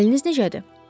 Əliniz necədir?